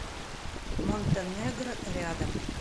монтенегро рядом